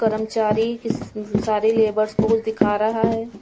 कर्मचारी कि सारे लेबर्स को दिखा रहा है.